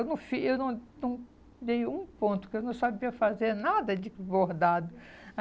Eu não fiz, eu não não dei um ponto, porque eu não sabia fazer nada de bordado.